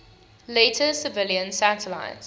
later civilian satellites